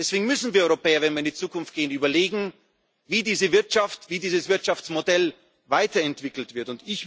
haben. Deswegen müssen wir Europäer, wenn wir in die Zukunft gehen, überlegen, wie diese Wirtschaft, wie dieses Wirtschaftsmodell weiterentwickelt